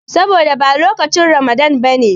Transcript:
Saboda ba lokacin Ramadana ba ne.